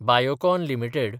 Biocon limited